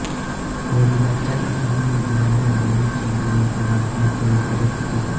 वडिलांच्या अकाली निधनाने गोविंद शंकर यांचे बालपण खडतरच गेले